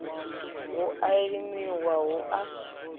hu a limiwa hu a